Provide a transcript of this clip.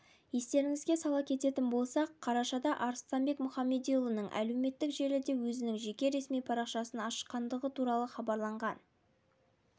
естеріңізге сала кететін болсақ қарашада арыстанбек мұхамедиұлының әлеуметтік желіде өзінің жеке ресми парақшасын ашқандығы туралы хабарланған